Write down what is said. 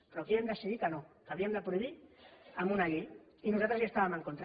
però aquí vam decidir que no que ho havíem de prohibir amb una llei i nosaltres hi estàvem en contra